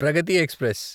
Pragathi express